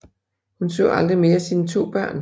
Hun så aldrig mere sine 2 børn